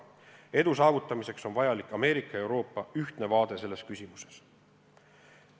Edu saavutamiseks on vajalik Ameerika ja Euroopa ühtne vaade selles küsimuses.